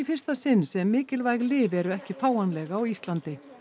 fyrsta sinn sem mikilvæg lyf eru ekki fáanleg á Íslandi